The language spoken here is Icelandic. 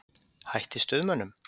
Hætt í Stuðmönnum?